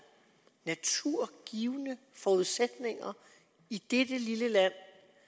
naturgivne forudsætninger i dette lille land